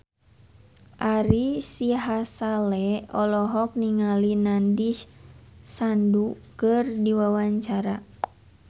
Ari Sihasale olohok ningali Nandish Sandhu keur diwawancara